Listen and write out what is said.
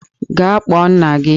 Gaa kpọọ nna gị!